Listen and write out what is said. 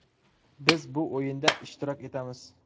Biz bu o‘yinda ishtirok etamiz.